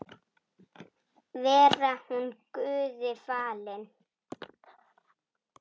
Veri hún Guði falin.